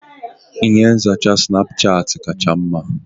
Ihe nzacha Sinapuchati kacha mma.